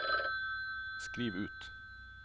skriv ut